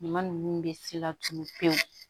Ɲuman ninnu bɛ se laturu pewu